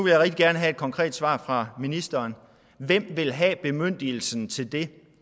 jeg rigtig gerne have et konkret svar fra ministeren hvem vil have bemyndigelsen til det